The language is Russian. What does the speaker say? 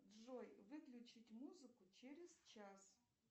джой выключить музыку через час